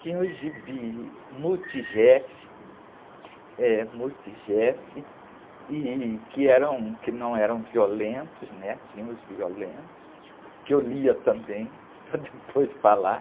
Tinha o gibi, eh, e, que eram, que não eram violentos, né? Tinham os violentos, que eu lia também para depois falar.